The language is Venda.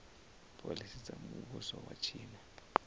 phoḽisi dza muvhuso wa tshino